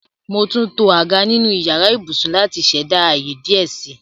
Mo túntọ̀ àgá nínu ìyàrà ìbùṣún láti ṣẹda ayé díẹ̀ sí.